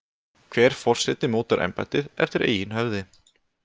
Hver forseti mótar embættið eftir eigin höfði.